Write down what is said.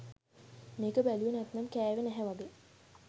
මේක බැලුවේ නැත්නම් කැවේ නැහැ වගේ!